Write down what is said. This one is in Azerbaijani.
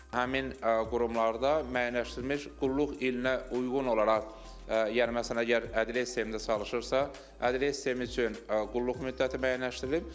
Həmin qurumlarda müəyyənləşdirilmiş qulluq ilinə uyğun olaraq, yəni məsələn əgər ədliyyə sistemində çalışırsa, ədliyyə sistemi üçün qulluq müddəti müəyyənləşdirilib.